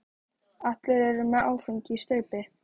Allir eru með áfengi í staupi.